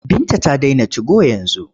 Binta ta dena tigo yanzu.